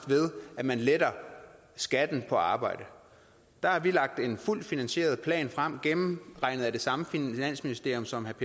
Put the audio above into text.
ved at man letter skatten på arbejde der har vi lagt en fuldt finansieret plan frem gennemregnet af det samme finansministerium som herre